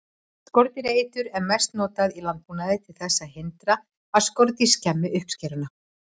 Skordýraeitur er mest notað í landbúnaði til þess að hindra að skordýr skemmi uppskeruna.